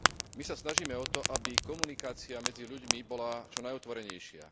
My sa snažíme o to, aby komunikácia medzi ľuďmi bola čo najotvorenejšia.